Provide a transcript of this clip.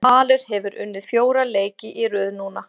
Valur hefur unnið fjóra leiki í röð núna.